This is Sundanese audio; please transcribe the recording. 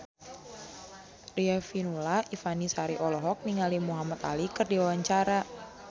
Riafinola Ifani Sari olohok ningali Muhamad Ali keur diwawancara